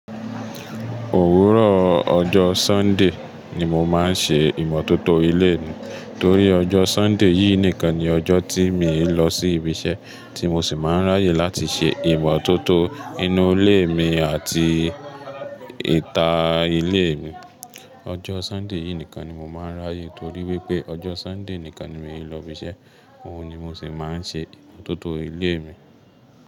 Òwúrọ̀ ọjọ́ Sunday ni mo máa ń ṣe ìmọ́tótó ilé mi torí ọjọ́ Sunday yìí nìkan ni ọjọ́ tí mi ò lọ sí ibi iṣẹ́ tí mo sì máa ń ráyè láti ṣe ìmọ́tótó inú ilé mi àti ìta ilé mi. Ọjọ́ Sunday yìí nìkan ni mo máa ń ráyè torí wípé ọjọ́ Sunday nìkan ni mi ò lọ ibi iṣẹ́, òun ni mo sì máa ń ṣe ìmọ́tótó ilé mi.